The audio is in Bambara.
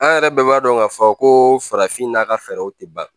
An yɛrɛ bɛɛ b'a dɔn k'a fɔ ko farafin n'a ka fɛɛrɛw tɛ ban